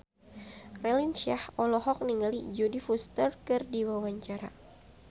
Raline Shah olohok ningali Jodie Foster keur diwawancara